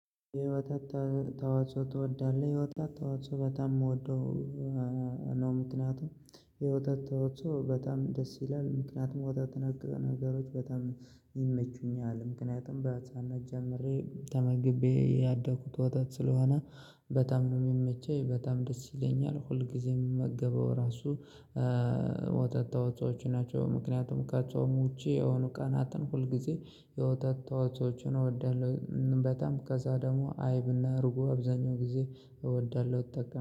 የወተት ተ ተዋጽኦ ትወዳለህ? የወተት ተዋጽኦ በጣም የምወደው አ አ ነው። ምክንያቱም የወተት ተዋጽኦ በጣም ደስ ይላል ምክንያቱም ወተት ነክ ነገሮች በጣም ይመቹኛል። ምክንያቱም በህፃንነት ጀምሬ ተመግቤ ያደኩት ወተት ስለሆነ በጣም ነው የሚመቸኝ በጣም ደስ ይለኛል። ሁል ጊዜ የምመገበው ራሱ እ ወተት ተዋጽኦች ናቸው። ምክንያቱም ከጾም ውጪ የሆኑ ቀናትን ሁልጊዜ የወተት ተዋጽኦችን እወዳለሁ። እናም በጣም ከዛ ደግሞ አይብና እርጎ አብዛኛው ጊዜ እወዳለሁ እጠቀማለሁ